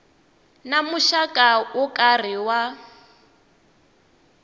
na muxaka wo karhi wa